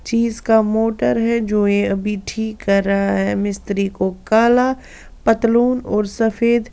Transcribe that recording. चीज का मोटर है जो ये अभी ठीक कर रहा है मिस्त्री को काला पतलून और सफेद--